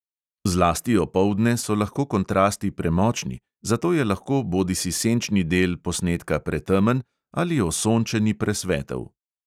Zlasti opoldne so lahko kontrasti premočni, zato je lahko bodisi senčni del posnetka pretemen ali osončeni presvetel.